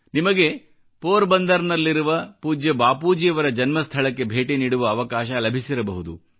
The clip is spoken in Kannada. ನಿಮಗೆ ಪೋರ್ಬಂದರ್ನಲ್ಲಿರುವ ಪೂಜ್ಯ ಬಾಪೂಜಿಯವರ ಜನ್ಮ ಸ್ಥಳಕ್ಕೆ ಭೇಟಿ ನೀಡುವ ಅವಕಾಶ ಲಭಿಸಿರಬಹುದು